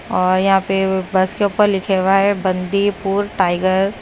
और यहां पे बस के ऊपर लिखे हुआ है बंदीपुर टाइगर।